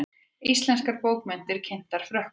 Íslenskar bókmenntir kynntar Frökkum